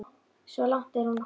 Svo langt er hún þó komin.